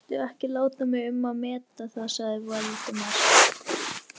Viltu ekki láta mig um að meta það sagði Valdimar.